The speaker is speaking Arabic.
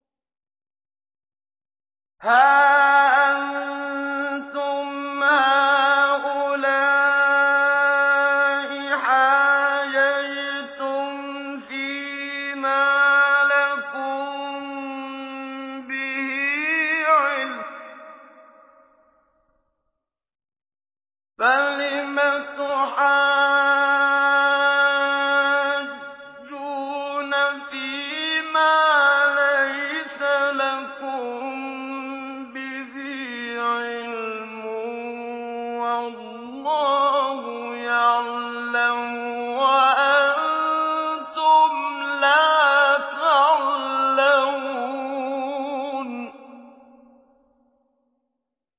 هَا أَنتُمْ هَٰؤُلَاءِ حَاجَجْتُمْ فِيمَا لَكُم بِهِ عِلْمٌ فَلِمَ تُحَاجُّونَ فِيمَا لَيْسَ لَكُم بِهِ عِلْمٌ ۚ وَاللَّهُ يَعْلَمُ وَأَنتُمْ لَا تَعْلَمُونَ